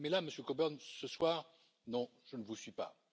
Mais là, Monsieur Coburn, ce soir, non je ne vous suis pas.